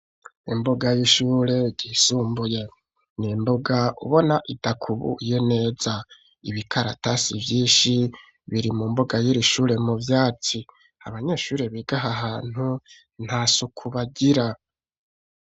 Imbuga y'ishure ryisumbuye n'imbuga ubonako idakubuye neza ibikaratasi vyishi biri mu mbuga yiri shure mu vyatsi abanyeshuri biga ahahantu ntasuku bagira.